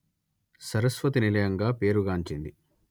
సరస్వతి నిలయంగా పేరు గాంచింది